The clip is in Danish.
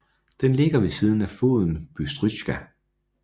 Den ligger ved siden af floden Bystrytsja